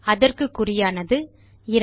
அதற்கு குறியானது 2